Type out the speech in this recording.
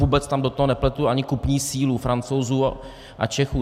Vůbec tam do toho nepletu ani kupní sílu Francouzů a Čechů.